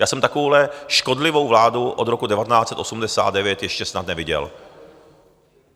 Já jsem takovouhle škodlivou vládu od roku 1989 ještě snad neviděl.